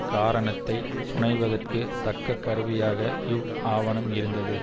காரணத்தைப் புனைவதற்குத் தக்க கருவியாக இவ் ஆவணம் இருந்தது